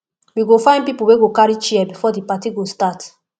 we go find pipo wey go carry chair before di party go start